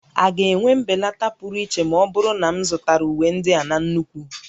A ga-enwe mbelata pụrụ iche ma ọ bụrụ na m zụtara uwe ndị a na nnukwu?